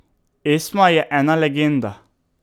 Esma je ena legenda.